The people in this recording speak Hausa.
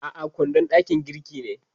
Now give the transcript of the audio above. A'a, kwandon dakin girki ne.